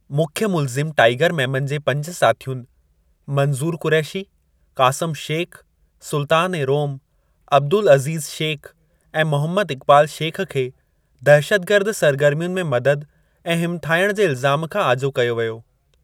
मुख्य मुल्ज़िम टाइगर मेमन जे पंज साथियुनि, मंजू़र कुरैशी, क़ासम शेख़, सुल्तान-ए-रोम, अब्दुल अज़ीज़ शेख़, ऐं मोहम्मद इक़बाल शेख़ खे दहशतगर्द सरगर्मियुनि में मददु ऐं हिमथायणु जे इल्ज़ामु खां आजो कयो वियो।